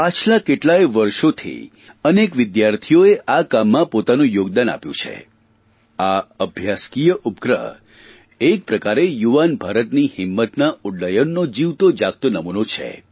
પાછલાં કેટલાંય વર્ષોથી અનેક વિદ્યાર્થીઓએ આ કામમાં પોતાનું યોગદાન આપ્યું છે આ અભ્યાસકીય ઉપગ્રહ એક પ્રકારે યુવાન ભારતની હિંમતના ઉડ્ડયનનો જીવતો જાગતો નમૂનો છે